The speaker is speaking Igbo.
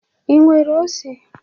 Ị nwere ose?